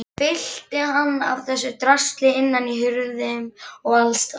Fyllti hann af þessu drasli innan í hurðum og allsstaðar.